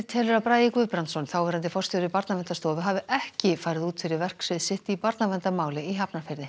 telur að Bragi Guðbrandsson þáverandi forstjóri Barnaverndarstofu hafi ekki farið út fyrir verksvið sitt í barnaverndarmáli í Hafnarfirði